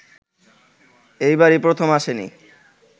এবারই প্রথম আসেনি